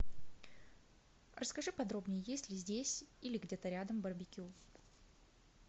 расскажи подробнее есть ли здесь или где то рядом барбекю